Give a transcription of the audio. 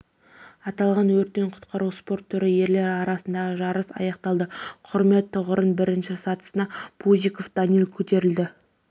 аталған өрттен құтқару спорты түрін ерлер арасындағы жарыс аяқтады құрмет тұғырының бірінші сатысына пузиков данил көтерілді